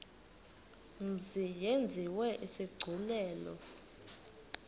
mzi yenziwe isigculelo